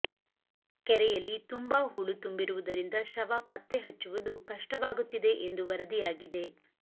ಕೆರೆಯಲ್ಲಿ ತುಂಬಾ ಹೂಳು ತುಂಬಿರುವುದರಿಂದ ಶವ ಪತ್ತೆ ಹಚ್ಚುವುದು ಕಷ್ಟವಾಗುತ್ತಿದೆ ಎಂದು ವರದಿಯಾಗಿದೆ